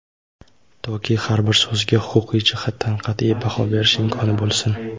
toki har bir so‘ziga huquqiy jihatdan qat’iy baho berish imkoni bo‘lsin.